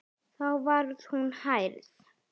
Þá var hún hrærð.